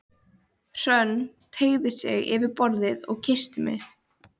Hrönn teygði sig yfir borðið og kyssti mig.